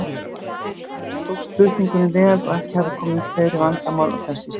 Tókst flutningurinn vel og ekki hafa komið upp fleiri vandamál á þessum stað.